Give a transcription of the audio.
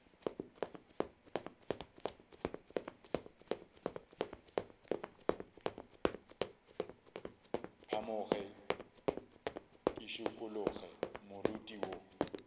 phamoge ke šikologe moriti wo